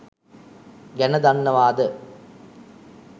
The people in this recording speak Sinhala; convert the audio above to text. ගැන දන්නවාද?